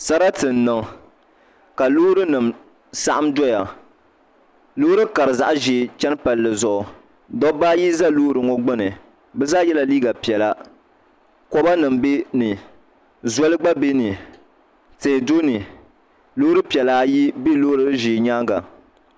Sarati n niʋ ka loori nim saɣam doya loori karili zaɣ ʒiɛ n chɛni palli zuɣu dabba ayi ʒɛ loori ŋɔ gbuni bi zaa yɛla liiga piɛla koba nim bɛ ni zoli gba bɛ ni tihi do ni loori piɛla ayi ʒɛ loori ʒiɛ nyaanga